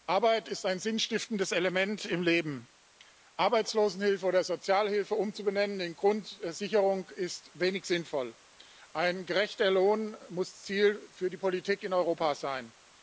Arbeit ist ein sinnstiftendes Element im Leben. Arbeitslosenhilfe oder Sozialhilfe umzubenennen in Grundsicherung, ist wenig sinnvoll. Ein gerechter Lohn muss Ziel für die Politik in Europa sein.